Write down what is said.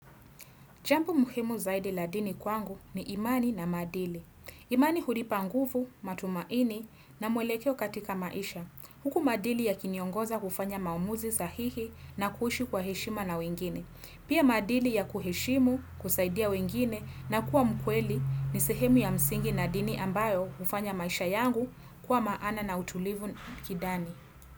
Jambo muhimu zaidi la dini kwangu, ni imani na madili. Imani hunipa nguvu, matumaini na mwelekeo katika maisha. Huku madili yakiniongoza kufanya maamuzi sahihi, na kuhishi kwa heshima na wengine. Pia madili ya kuheshimu, kusaidia wengine na kuwa mkweli ni sehemu ya msingi na dini ambayo hufanya maisha yangu kwa maana na utulivu kindani.